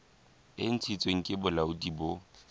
e ntshitsweng ke bolaodi bo